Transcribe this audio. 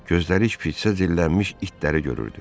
Gözləri şpitsə cillənmiş itləri görürdü.